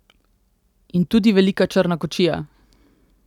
In tudi velika črna kočija!